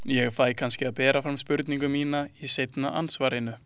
Ég fæ kannski að bera fram spurningu mína í seinna andsvarinu.